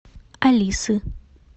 алисы